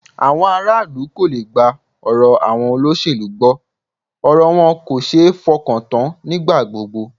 Àwọn ará ìlú kò le gba ọ̀rọ̀ àwọn olóṣèlú gbọ́, ọ̀rọ̀ wọn kò ṣe é fọkàntán nígbà gbogbo